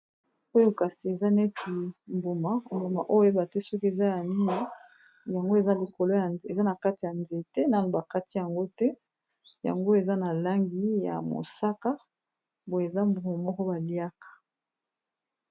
Oyo kasi eza neti mbuma mbuma Oyo okoyeba te soki eza nini yango eza likolo ya nze eza na kati ya nzete nanu bakati yango te yango eza na langi ya mosaka eza mbuma moko baliyaka